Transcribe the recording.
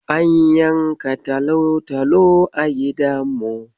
An yanka talotalo a gidanmu.